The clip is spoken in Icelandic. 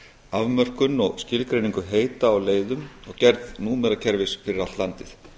afmörkun og skilgreiningu heita á leiðum og gerð númerakerfis fyrir allt landið